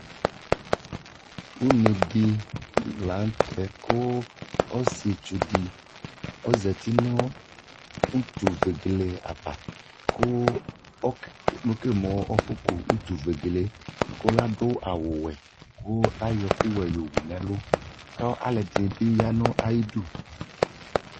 ʋnɛdi lantɛ kʋ ɔsiitsu di ɔzati nʋ ʋtʋ vɛgɛlɛ aɣa kʋ ɛkɛlɛ mʋ aƒɔ kʋ ʋtʋ vɛgɛlɛ kʋ adʋ awʋ wɛ kʋayɔ ɛkʋ wɛ wʋnʋ ɛlʋ kʋ alʋɛdini biyanʋ ayidʋ